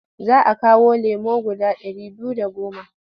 Za a kawo lemo guda ɗari biyu da goma.